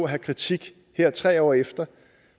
have kritik her tre år efter